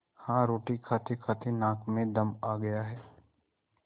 हाँ रोटी खातेखाते नाक में दम आ गया है